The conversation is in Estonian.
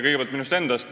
Kõigepealt minust endast.